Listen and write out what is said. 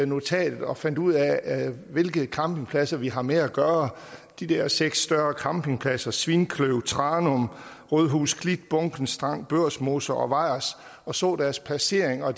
notatet og fandt ud af hvilke campingpladser vi har med at gøre de der seks større campingpladser svinkløv tranum rødhus klit bunken strand børsmose og vejers og så deres placering og